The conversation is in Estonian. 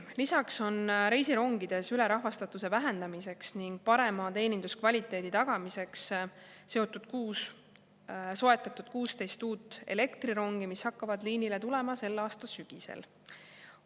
Lisaks on reisirongide ülerahvastatuse vähendamiseks ning parema teeninduskvaliteedi tagamiseks soetatud 16 uut elektrirongi, mis hakkavad liinile tulema selle aasta sügisel.